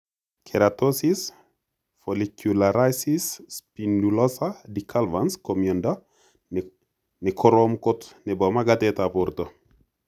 Keratosis follicularis spinulosa decalvans ko miondo nekorom kot nepo magatet ap porto.